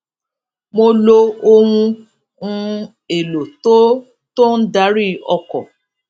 mo lo ohun um èlò tó tó ń darí ọkò